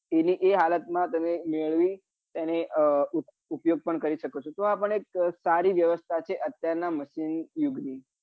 એની એ હાલત માં તેને મેળવી અ ઉપયોગ પણ કરી શકો છો તો આ પણ એક સારી વ્યવસ્થા છે અત્યાર નાં machine યુગ ની